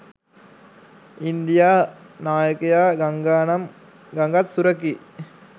India නායකයා ගංගානම් ගඟත් සුරකී